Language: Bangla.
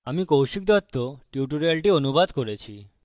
আমি কৌশিক দত্ত টিউটোরিয়ালটি অনুবাদ করেছি